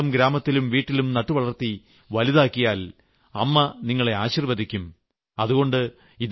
ഈ ചെടിയെ സ്വന്തം ഗ്രാമത്തിലും വീട്ടിലും നട്ടുവളർത്തി വലുതാക്കിയാൽ അമ്മ നിങ്ങളെ ആശീർവദിക്കും